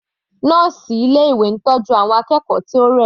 Nọ́ọ̀sì ilé ìwé ń tọ́jú àwọn akẹ́kọ̀ọ́ tí ó rẹ̀.